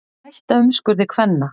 Hætta umskurði kvenna